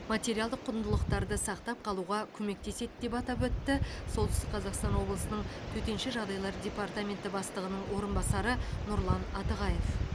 материалдық құндылықтарды сақтап қалуға көмектеседі деп атап өтті солтүстік қазақстан облысының төтенше жағдайлар департаменті бастығының орынбасары нұрлан атығаев